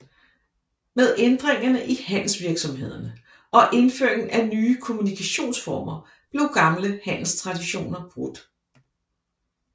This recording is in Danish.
Med ændringerne i handelsvirksomhederne og indføringen af nye kommunikationsformer blev gamle handelstraditioner brudt